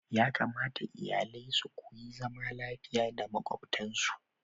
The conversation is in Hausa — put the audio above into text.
Ya kamata iyalai su koyi zama lafiya da makwabtansu.